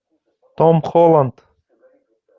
том холланд